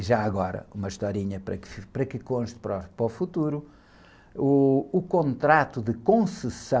E já agora, uma historinha para que fique, para que conste para, para o futuro, o contrato de concessão,